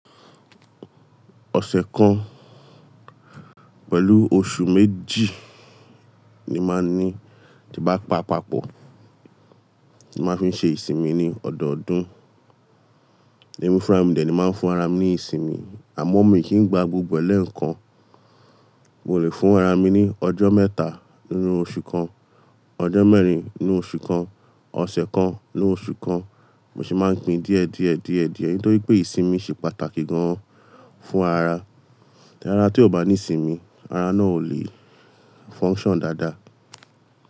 Ọ̀sẹ̀ kan pẹ̀lú oṣù méjì ni máa ní tí bá pa àpapọ̀, tí máa fi ṣe ìsinmi ní ọ̀dọọdún. Emi funra mi dẹ̀ ni máa ń fún ara mi ní ìsinmi, àmọ́ mi kìí gba gbogbo ẹ lẹ́ẹkán. Mo lè fún ara mi ní ọjọ́ mẹ́ta nínú oṣù kan, ọjọ́ mẹ́rin nínú oṣù kan, ọ̀sẹ̀ kan nínú oṣù kan. Mo sì máa ń gbin díẹ̀díẹ̀díẹ̀díẹ̀ nítorí pé ìsinmi ṣe pàtàkì gan-an fún ara. Tí ara tí ò bá ní ìsinmi, ara náà ò le function daadáa.